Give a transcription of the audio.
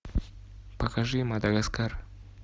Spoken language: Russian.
покажи мадагаскар